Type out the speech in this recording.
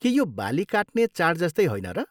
के यो बाली काट्ने चाड जस्तै होइन र?